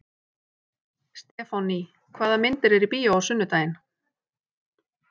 Stefánný, hvaða myndir eru í bíó á sunnudaginn?